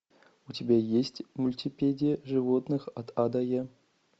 у тебя есть мультипедия животных от а до я